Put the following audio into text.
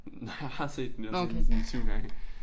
Nej har har set den jo og sådan sådan 7 gange